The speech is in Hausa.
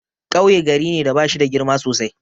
Kauye gari ne da bashida girma sosai.